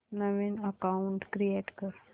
नवीन account create कर